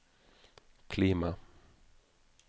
klima